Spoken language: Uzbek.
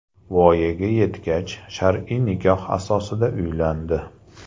Voyaga yetgach, shar’iy nikoh asosida uylandi.